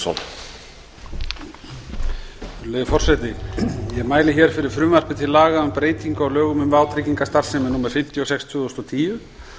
virðulegi forseti ég mæli hér fyrir frumvarpi til laga um breytingu á lögum um vátryggingastarfsemi númer fimmtíu og sex tvö þúsund og tíu